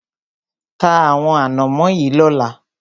Ta àwọn ànámọ́ yìí lọ́la!